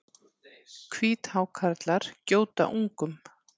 Hvíthákarlar gjóta ungum.